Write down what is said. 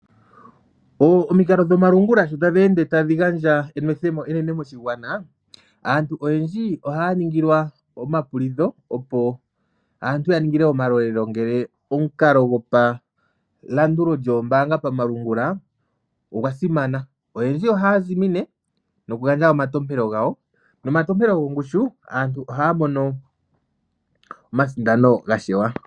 Omikalo dhomalungula sho tadhi ende tadhi gandja enwethemo enene moshigwana, aantu oyendji ohaya ningilwa omapulidho, opo aantu ya ningilwe omalolelo ngele omukalo gopalandulo lyoombaanga pamalungula ogwa simana. Oyendji ohaya zimine nokugandja omantopelo gawo, nomantopelo gongushu aantu ohaya mono omasindano ga shewa.